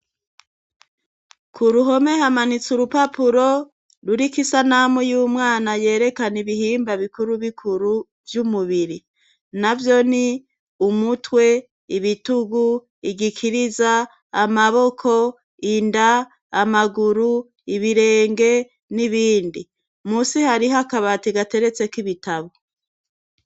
Ku ruhome hamanitse urupapuro ruriko isanamu y'umwana yerekana ibihimba bikuru bikuru vy'umubiri navyo ni:umutwe, ibitugu, igikiriza amaboko, inda, amaguru, ibirenge n'ibindi. munsi hariho akabati gateretseko ibitabo.